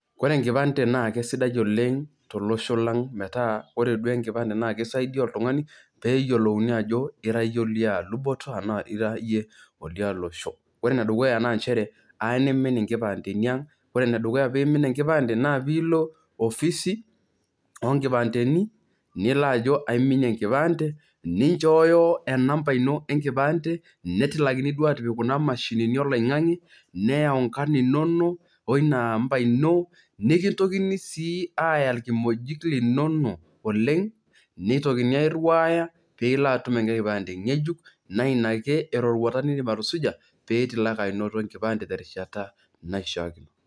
Kore enkipande naa kesidai oleng' tolosho lang' metaa ore duo enkipande naa kisaidia pee eyolouni ajo ira iyie olia luboto anaa ira iyie olia losho. Ore ene dukuya naa njere aa nimin nkipandeni aang', ore ene dukuya teniimin nkipande naa piilo ofisi o nkipandeni nilo ajo aiminie enkipande ninjooyo enamba ino enkipande netilakini duo aatipik kuna mashinini o loing'ang'e neyau inkarn inonok wo ina amba ino, nekintokini sii aaya irkimojik linonok oleng' nitokini airiwaaya piilo atum enkae kipande ng'ejuk, naa ina ake eroruata niindim atusuja pee itumoki anoto enkipande terishata naishaa.